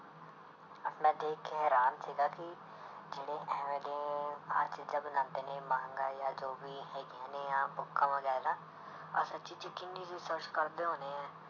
ਮੈਂ ਦੇਖ ਕੇ ਹੈਰਾਨ ਸੀਗਾ ਕਿ ਜਿਹੜੇ ਇਵੇਂ ਦੇ ਆਹ ਚੀਜ਼ਾਂ ਬਣਾਉਂਦੇ ਨੇ ਮਾਂਗਾ ਜਾਂ ਜੋ ਵੀ ਹੈਗੀਆਂ ਨੇ ਆਹ ਬੁੱਕਾਂ ਵਗ਼ੈਰਾ, ਆਹ ਸੱਚੀ 'ਚ ਕਿੰਨੀ research ਕਰਦੇ ਹੋਣੇ ਹੈ।